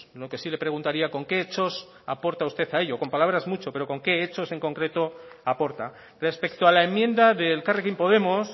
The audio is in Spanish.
lo que sí le preguntaría con qué hechos aporta usted a ello con palabras muchos pero con qué hechos en concreto aporta respecto a la enmienda de elkarrekin podemos